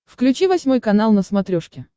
включи восьмой канал на смотрешке